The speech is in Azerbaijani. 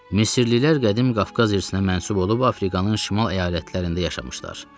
Misirlilər qədim Qafqaz irsinə mənsub olub Afrikanın şimal əyalətlərində yaşamışlar.